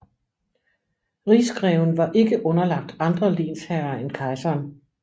Rigsgreven var ikke underlagt andre lensherrer end kejseren